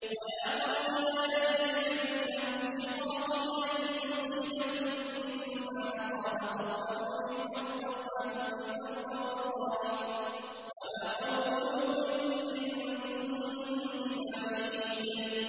وَيَا قَوْمِ لَا يَجْرِمَنَّكُمْ شِقَاقِي أَن يُصِيبَكُم مِّثْلُ مَا أَصَابَ قَوْمَ نُوحٍ أَوْ قَوْمَ هُودٍ أَوْ قَوْمَ صَالِحٍ ۚ وَمَا قَوْمُ لُوطٍ مِّنكُم بِبَعِيدٍ